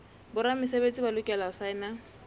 boramesebetsi ba lokela ho saena